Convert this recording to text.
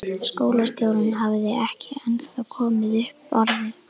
Skólastjórinn hafði ekki ennþá komið upp orði.